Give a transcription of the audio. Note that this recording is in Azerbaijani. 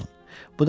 Tanış olun.